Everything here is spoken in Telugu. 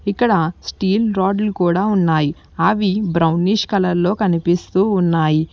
ఇక్కడ స్టీల్ రాడ్లు కూడా ఉన్నాయి అవి బ్రౌనిష్ కలర్ లో కనిపిస్తూ ఉన్నాయి.